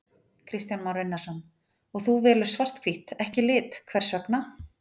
Kristján Már Unnarsson: Og þú velur svart-hvítt, ekki lit, hvers vegna?